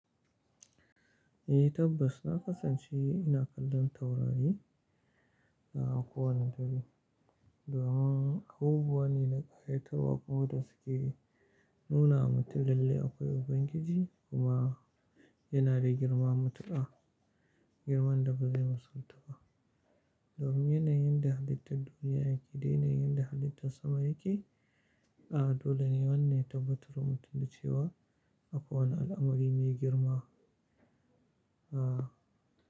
Eh tabbas, na kasance ina kallon taurari, a kowanne dare, domin abubuwa ne na ƙayatarwa kuma da suke, nuna wa mutum lalle akwai Ubangiji, kuma, yana da girma matuƙa, girman da ba zai misaltu ba, domin yanayin da halitta duniya da yanayin da halittar sama yake A, dole ne wannan ya tabbatarwa mutum da cewa, akwai wani al'amari mai girma. A.